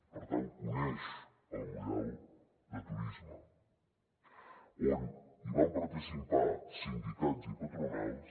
per tant coneix el model de turisme on van participar sindicats i patronals